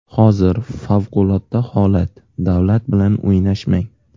Hozir favqulodda holat, davlat bilan o‘ynashmang.